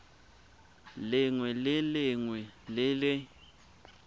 lengwe le lengwe le le